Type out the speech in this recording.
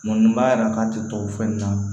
Mɔni b'a jira k'a tɛ to o fɛn nin na